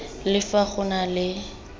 le fa go na le